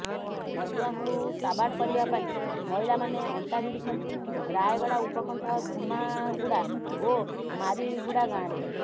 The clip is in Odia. ମଦୁଆଙ୍କୁ ସାବାଡ କରିବା ପାଇଁ ମହିଳାମାନେ ଅଣ୍ଟା ଭିଡ଼ିଛନ୍ତି ରାୟଗଡ଼ା ଉପକଣ୍ଠ ଧୂମାଗୁଡା ଓ ମାରିଗୁଡା ଗାଁରେ